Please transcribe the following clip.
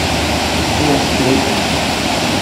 To sklepam.